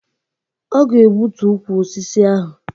Ọ ga-egbutu ukwu osisi ahụ